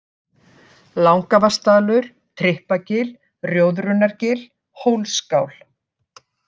Langavatnsdalur, Trippagil, Rjóðrunargil, Hólsskál